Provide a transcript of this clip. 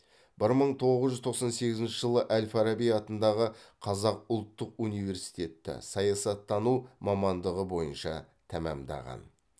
бір мың тоғыз жүз тоқсан сегізінші жылы әл фараби атындағы қазақ ұлттық университетті саясаттану мамандығы бойынша тәмамдаған